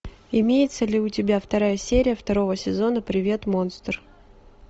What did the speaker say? имеется ли у тебя вторая серия второго сезона привет монстр